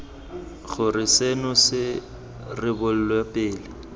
gore seno se rebolwe pele